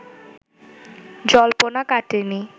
জল্পনা কাটেনি